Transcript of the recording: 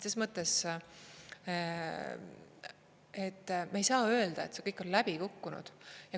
Me ei saa öelda, et see kõik on läbi kukkunud.